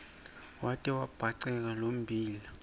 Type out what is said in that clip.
wate wabhaceka lommbila